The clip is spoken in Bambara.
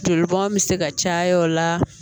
Joli bɔn bɛ se ka caya o la